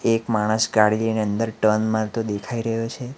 એક માણસ ગાડી લઈને અંદર ટર્ન મારતો દેખાઈ રહ્યો છે.